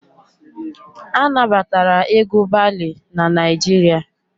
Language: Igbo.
A na batara egwu balee n'Naijiria